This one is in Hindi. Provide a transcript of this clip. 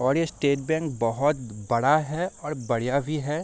और ये स्टेट बैंक बोहोत बड़ा है और बढ़िया भी है ।